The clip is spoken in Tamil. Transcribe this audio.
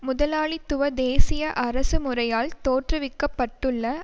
முதலாளித்துவ தேசிய அரசு முறையால் தோற்றுவிக்க பட்டுள்ள